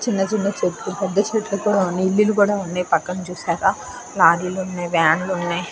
చిన్న చెట్లు పెద్ధ చెట్లు ఇల్లులు కూడా ఉన్నాయి పక్కన చూశారా లారీలు ఉన్నాయ్ వ్యాన్లు ఉన్నయ్.